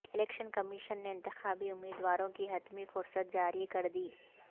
election commission نے انتخابی امیدواروں کی حتمی فہرست جاری کر دی